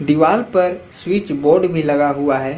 दीवाल पर switch board भी लगा हुआ है।